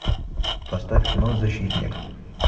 поставь кино защитник